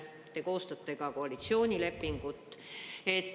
Te koostate ka koalitsioonilepingut.